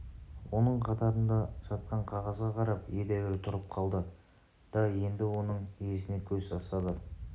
оның қатарында жатқан қағазға қарап едәуір тұрып қалды да енді оның иесіне көз тастады